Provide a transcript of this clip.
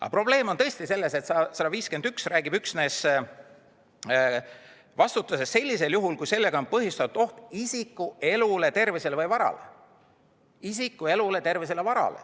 Aga probleem on tõesti selles, et § 151 räägib vastutusest üksnes sellisel juhul, kui sellega on põhjustatud oht isiku elule, tervisele või varale.